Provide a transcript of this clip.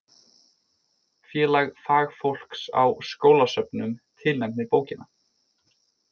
Félag fagfólks á skólasöfnum tilnefnir bókina